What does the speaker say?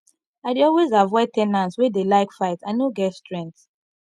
i dey always avoid ten ants wey dey like fight i no get strength